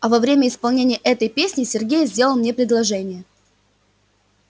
а во время исполнения этой песни сергей сделал мне предложение